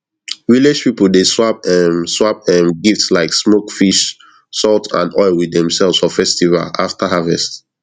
village people dey swap um swap um gift like smoke fish salt and oil with themselves for festival after harvest